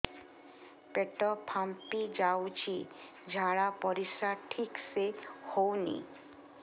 ପେଟ ଫାମ୍ପି ଯାଉଛି ଝାଡ଼ା ପରିସ୍ରା ଠିକ ସେ ହଉନି